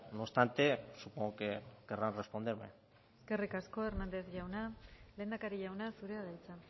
no obstante supongo que querrán responderme eskerrik asko hernández jauna lehendakari jauna zurea da hitza